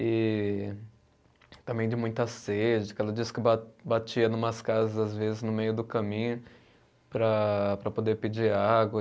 E também de muita sede, que ela diz que ba batia numas casas às vezes no meio do caminho para, para poder pedir água.